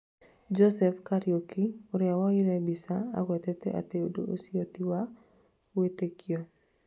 Joseph Kariuki, ũria woire mbica agwetete atĩ ũndũ ũcio tĩ wa gwĩtikio